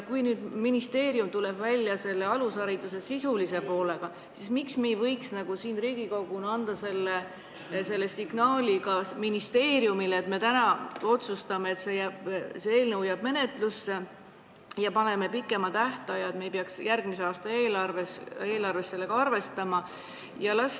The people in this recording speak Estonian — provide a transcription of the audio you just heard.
Kui nüüd ministeerium tuleb välja alusharidust puudutava eelnõuga, siis miks me ei võiks Riigikoguna anda ministeeriumile selge signaali sellega, et me täna otsustame, et eelnõu jääb menetlusse, ja pakume pikema tähtaja, et me ei peaks juba järgmise aasta eelarves sellega arvestama?